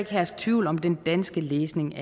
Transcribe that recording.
herske tvivl om den danske læsning